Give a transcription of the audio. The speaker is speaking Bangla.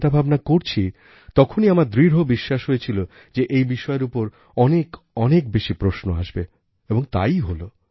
চিন্তাভাবনা করছি তখনই আমার দৃঢ় বিশ্বাস হয়েছিল যে এই বিষয়ের উপর অনেক অনেক বেশি প্রশ্ন আসবে এবং তাইই হলো